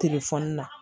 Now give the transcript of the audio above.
telefɔni na